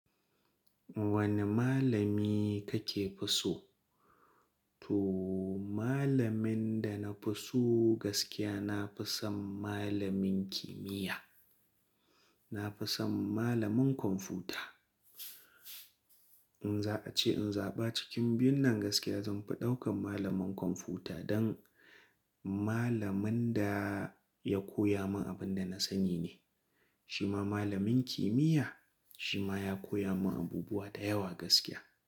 Wani malami ka fi so? To malamin da na fi so gaskiya, na fi son malamin kimiyya. Na fi son malamin kwamfuta. In za a ce in zaɓa cikin biyun nan gaskiya, zan fi ɗaukan malamin kwamfuta dan malamin da ya koya min abin da na sani ne. Shi ma malamin kimiyya, shi ma ya koya min abubuwa da yawa gaskiya.